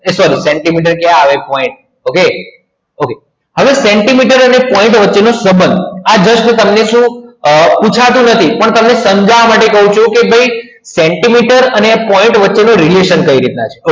એ sorry centimetre ક્યાં આવે okay point okay હવે સેન્ટીમીટર એટલે point વચ્ચેનો સંબંધ તો આ બંનેનું શું પૂછાતું નથી પરંતુ તમને સમજવા માટે કહું છું કે ભાઈ સેન્ટીમીટર અને point વચ્ચેનો radiation કઈ રીતના છે